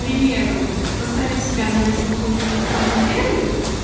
примеру поставить себя на место какой-нибудь вэбкам модели